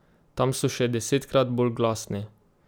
Tam so še desetkrat bolj glasni!